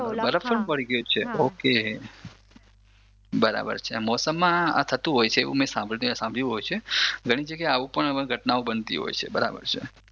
બરફ કેમ પડી ગયો છે ઓકે મોસમમાં આ થતુ હોય છે મે એ સાંભર્યું હોય છે ઘણી જગ્યાએ આવું પણ ઘટનાઓ બનતી હોય છે બરાબર છે